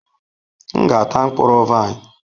M ga-ata mkpụrụ vaịn.